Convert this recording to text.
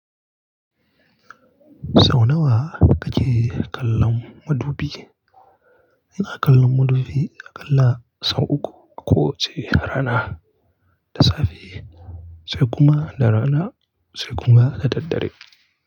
Sau nawa kake kallon madubi? Ina kallon madubi aƙalla sau uku a kowace rana, da safe, sai kuma da rana, sai kuma da daddare.